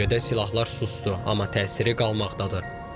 Bölgədə silahlar susdu, amma təsiri qalmaqdadır.